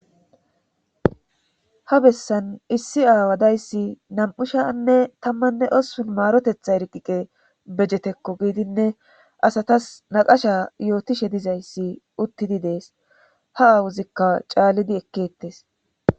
Ha bessan issi aawadayssi nam'ushanne tammanne ossun maarotetha eriqiqe bejetekko giidinne asatas naqasha yootishe dizayssi uttidi dees ha aawuzikka caalidi ekkettes.